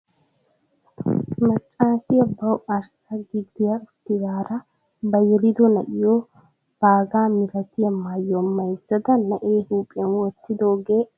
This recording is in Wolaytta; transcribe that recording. Maccasiyaa bawu arssa gida uttidaara ba yelido na'iyoo baagaa milatiyaa maayuwaa maayzzada na'ee huphphiyaan wottidoogee aybaa getettii? eti maayido maayoy qassi aybaa getettii?